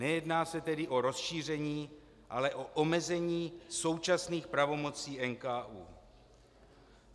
Nejedná se tedy o rozšíření, ale o omezení současných pravomocí NKÚ.